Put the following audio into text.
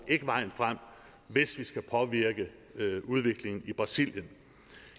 ikke vejen frem hvis vi skal påvirke udviklingen i brasilien